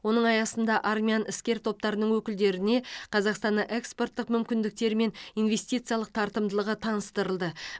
оның аясында армян іскер топтарының өкілдеріне қазақстанның экспорттық мүмкіндіктері мен инвестициялық тартымдылығы таныстырылды